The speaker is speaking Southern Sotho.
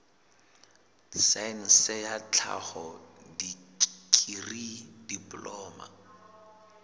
saense ya tlhaho dikri diploma